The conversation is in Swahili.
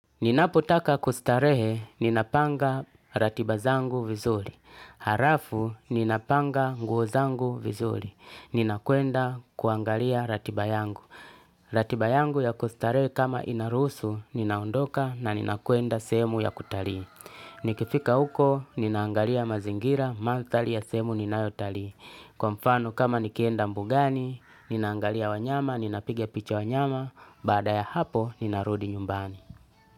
Ninapotaka kustarehe, ninapanga ratiba zangu vizuri. Harafu, ninapanga nguo zangu vizuri. Ninakuenda kuangalia ratibayangu. Ratiba yangu ya kustarehe kama inaruhusu, ninaondoka na ninakwenda semu ya kutalii. Nikifika uko, ninaangalia mazingira, manthali ya sehemu ninayotalii. Kwa mfano kama nikienda mbugani, ninaangalia wanyama, ninapiga picha wanyama, baada ya hapo, ninarudi nyumbani.